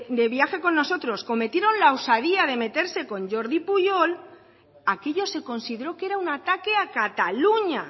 de viaje con nosotros cometieron la osadía de meterse con jordi puyol aquello se consideró que era un ataque a cataluña